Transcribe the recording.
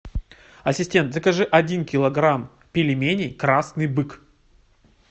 ассистент закажи один килограмм пельменей красный бык